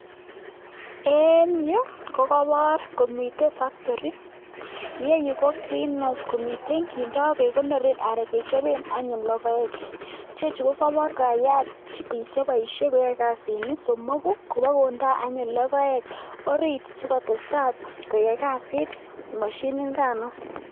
En Yu kokabar komiten factori yeyu ko green house komiten kindo kekonoren anan kechapen anyun logoek chechu kokabar kokayat bik chebaishe koyae kasit somoku Koba kondaa anyun logoek orit sikotesetai koyai kasit mashinit nikano